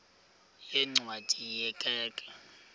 yeencwadi ye kerk